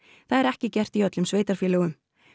það er ekki gert í öllum sveitarfélögum